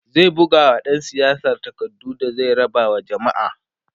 zai bugawa ɗan siyasar takardu da zai raba wa jamma'a